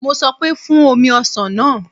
Mo sọ pé, Fún omi ọsàn náà